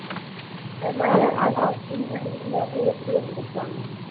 அது மாதிரி அந்த காலத்துல இருந்தவங்க எப்ப்டி இருந்திருப்பாங்க